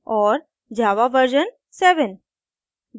और * java version 7